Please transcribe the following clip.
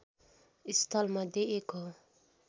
स्थलमध्ये एक हो